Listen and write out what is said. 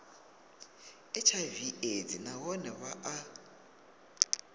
hiv aids nahone vha a